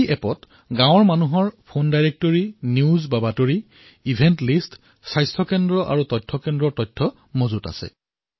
এই এপত গাঁৱৰ ফোন ডাইৰেক্টৰী বাতৰি অনুষ্ঠানৰ তালিকা স্বাস্থ্য কেন্দ্ৰ আৰু তথ্য কেন্দ্ৰ অন্তৰ্ভুক্ত আছে